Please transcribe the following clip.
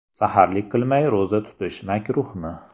Saharlik qilmay ro‘za tutish makruhmi?.